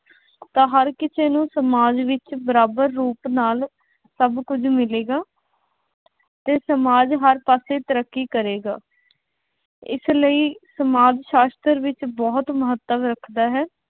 ਤਾਂ ਹਰ ਕਿਸੇ ਨੂੰ ਸਮਾਜ ਵਿੱਚ ਬਰਾਬਰ ਰੂਪ ਨਾਲ ਸਭ ਕੁੱਝ ਮਿਲੇਗਾ ਅਤੇ ਸਮਾਜ ਹਰ ਪਾਸੇ ਤਰੱਕੀ ਕਰੇਗਾ। ਇਸ ਲਈ ਸਮਾਜ ਸ਼ਾਸ਼ਤਰ ਵਿੱਚ ਬਹੁਤ ਮਹੱਤਵ ਰੱਖਦਾ ਹੈ।